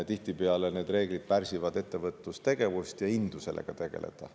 Tihtipeale need reeglid pärsivad ettevõtlustegevust ja indu sellega tegeleda.